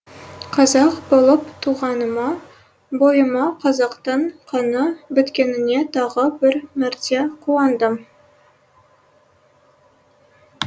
қазақ болып туғаныма бойыма қазақтың қаны біткеніне тағы бір мәрте қуандым